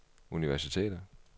universiteter